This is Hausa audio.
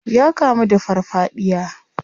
Ya kamu da farfadiya.